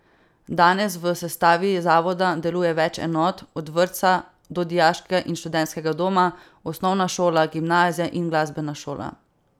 Danes v sestavi zavoda deluje več enot, od vrtca do dijaškega in študentskega doma, osnovna šola, gimnazija in glasbena šola.